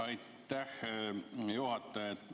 Aitäh, hea juhataja!